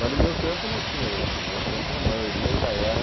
Mas no meu tempo não tinha isso, no meu tempo a maioria ainda era...